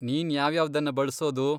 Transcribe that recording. ನೀನ್ ಯಾವ್ಯಾವ್ದನ್ನ ಬಳ್ಸೋದು?